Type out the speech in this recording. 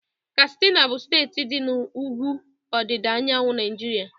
Katsina bụ steeti dị na ugwu ọdịda anyanwụ Naijiria.